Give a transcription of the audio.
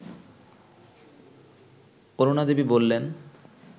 অরুণাদেবী বললেন